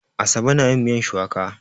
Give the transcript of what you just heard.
Asabe na yin miyan shuwaka.